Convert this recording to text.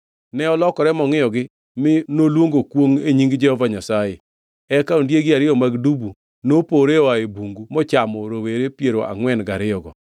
Ne olokore mongʼiyogi mi noluongo kwongʼ e nying Jehova Nyasaye. Eka ondiegi ariyo mag dubu nopore oa e bungu mochamo rowere piero angʼwen gariyogo.